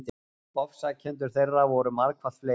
Ofsækjendur þeirra voru margfalt fleiri.